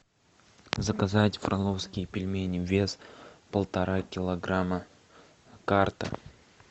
заказать фроловские пельмени вес полтора килограмма карта